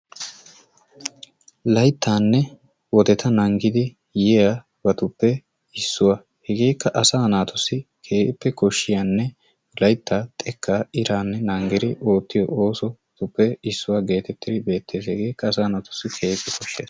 Layttaanne wodeta naagidi yiyabatuppe issuwa. Hegeekka asaa naatussi keehippe koshshiyanne layttaa, xekkaa naagidi iraanne naagidi oottiyo oosotuppe issuwa geetettidi beettees. Hegeekka asaa naatussi keehippe koshshiyaba.